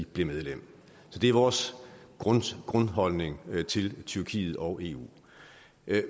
blev medlem så det er vores grundholdning til tyrkiet og eu